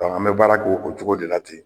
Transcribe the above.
an bɛ baara k'o cogo de la ten